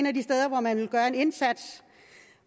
af de steder hvor man vil gøre en indsats